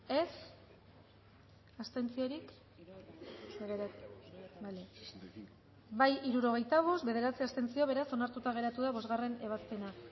dezakegu bozketaren emaitza onako izan da hirurogeita hamalau eman dugu bozka hirurogeita bost boto aldekoa bederatzi abstentzio beraz onartuta geratu da bostgarrena ebazpena